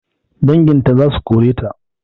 Danginta zasu koreta